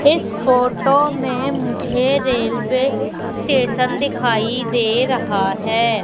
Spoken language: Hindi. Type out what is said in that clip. इस फोटो में मुझे रेलवे स्टेशन दिखाई दे रहा है।